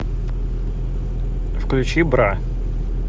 включи бра